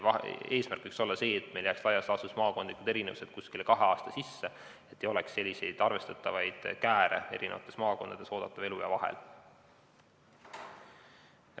Eesmärk võiks olla see, et meil maakondlikud erinevused jääksid laias laastus kahe aasta sisse, et maakondades ei oleks arvestatavaid kääre oodatava eluea pikkuses.